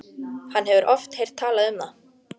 Hann hefur oft heyrt talað um það.